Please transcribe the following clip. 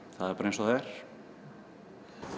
það er bara eins og það er